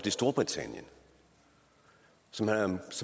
i storbritannien som